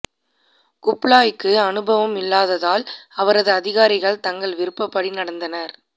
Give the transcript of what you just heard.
குப்லாய்க்கு அனுபவம் இல்லாததால் அவரது அதிகாரிகள் தங்கள் விருப்பப்படி நடந்தனர்